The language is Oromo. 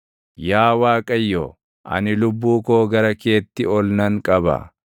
Yaa Waaqayyo, ani lubbuu koo gara keetti ol nan qaba.